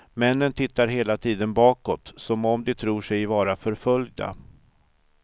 Männen tittar hela tiden bakåt, som om de tror sig vara förföljda.